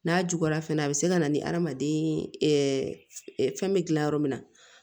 N'a juguyara fɛnɛ a bɛ se ka na ni adamaden fɛn bɛ dilan yɔrɔ min na